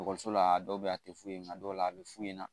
la a dɔw bɛ yen a tɛ foyi ɲ'a la a bɛ fu ɲɛna